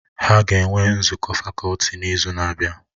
Ha ga-enwe nzukọ fakọlti n'izu na-abịa